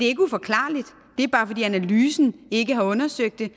ikke uforklarligt det er bare fordi analysen ikke har undersøgt det